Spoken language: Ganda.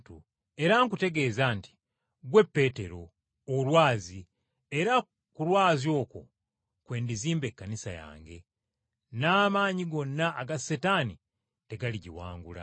Era nkutegeeza nti, Ggwe Peetero, olwazi, era ku lwazi okwo kwe ndizimba Ekkanisa yange, n’amaanyi gonna aga Setaani tegaligiwangula.